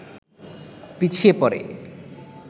পিছিয়ে পড়ে